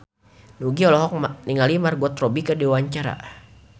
Nugie olohok ningali Margot Robbie keur diwawancara